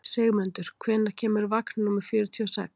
Sigmundur, hvenær kemur vagn númer fjörutíu og sex?